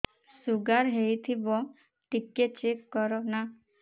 sugar ହେଇଥିବ ଟିକେ check କର ନା